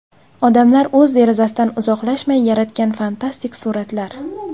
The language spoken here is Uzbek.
Odamlar o‘z derazasidan uzoqlashmay yaratgan fantastik suratlar.